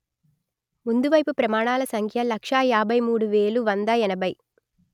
ముందువైపు ప్రమాణాల సంఖ్య లక్ష యాభై మూడు వేలు వంద ఎనభై